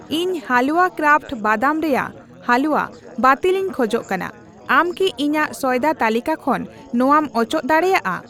ᱤᱧ ᱦᱟᱞᱣᱟ ᱠᱨᱟᱯᱷᱴ ᱵᱟᱫᱟᱢ ᱨᱮᱭᱟᱜ ᱦᱟᱞᱩᱣᱟ ᱵᱟᱹᱛᱤᱞᱤᱧ ᱠᱷᱚᱡ ᱠᱟᱱᱟ, ᱟᱢ ᱠᱤ ᱤᱧᱟᱜ ᱥᱚᱭᱫᱟ ᱛᱟᱹᱞᱤᱠᱟ ᱠᱷᱚᱱ ᱱᱚᱣᱟᱢ ᱚᱪᱚᱜ ᱫᱟᱲᱮᱭᱟᱜᱼᱟ ?